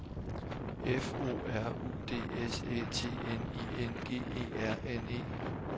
F O R U D S Æ T N I N G E R N E